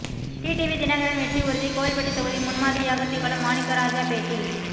TTV Dhinakaran வெற்றி உறுதி கோவில்பட்டி தொகுதி முன்மாதிரியாக திகழும் மாணிக்கராஜா பேட்டி